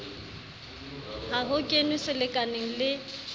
ha ho kenwe selekaneng le